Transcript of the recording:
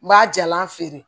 N b'a jalan feere